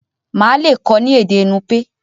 Má le kọ ni èdè nupe.